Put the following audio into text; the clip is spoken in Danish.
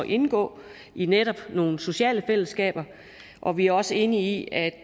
indgå i netop nogle sociale fællesskaber og vi også enige i at